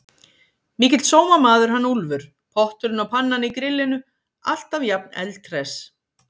Mikill sómamaður hann Úlfur. potturinn og pannan í grillinu, alltaf jafn eldhress!